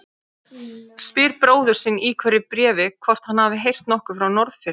Spyr bróður sinn í hverju bréfi hvort hann hafi heyrt nokkuð frá Norðfirði.